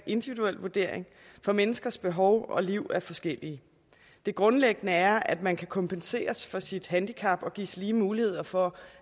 individuel vurdering for menneskers behov og liv er forskellige det grundlæggende er at man kan kompenseres for sit handicap og gives lige muligheder for